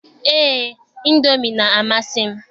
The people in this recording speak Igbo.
Eé, ịndomi na-amasị m.